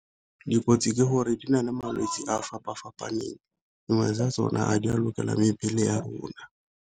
Dikotsi ke gore di na le malwetse a a fapa-fapaneng, dingwe tsa tsona a di a lokelang mebele ya rona.